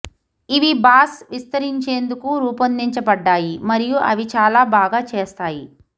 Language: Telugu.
ఇవి బాస్ విస్తరించేందుకు రూపొందించబడ్డాయి మరియు అవి చాలా బాగా చేస్తాయి